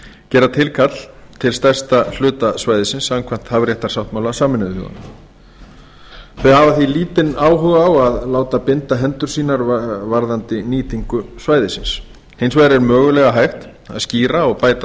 gera tilkall til stærsta hluta svæðisins samkvæmt hafréttarsáttmála sameinuðu þjóðanna þau hafa því lítinn áhuga á að láta binda hendur sínar varðandi nýtingu svæðisins hins vegar er mögulega hægt að skýra og bæta